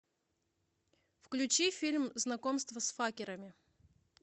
включи фильм знакомство с факерами